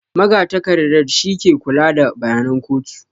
Magatakarda shi ke kula da bayanan kotu